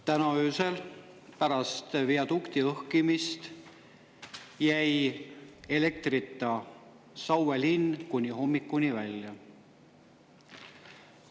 Täna öösel pärast viadukti õhkimist jäi elektrita Saue linn, kuni hommikuni välja.